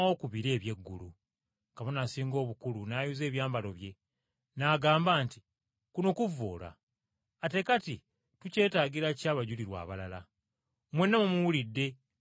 Kabona Asinga Obukulu, n’ayuza ebyambalo bye, n’agamba nti, “Kuno kuvvoola! Ate kati tukyetaagira ki abajulirwa abalala? Mwenna mumuwulidde ng’akyogera!